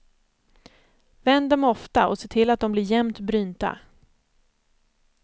Vänd dem ofta och se till att de blir jämnt brynta.